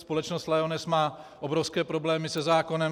Společnost Lyoness má obrovské problémy se zákonem.